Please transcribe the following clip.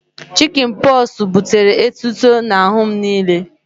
Chịkịn pọxụ butere etuto n'ahụ m niile